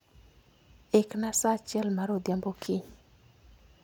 Ikna sa achiel mar odhiambo kiny